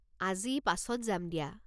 আজি পাছত যাম দিয়া।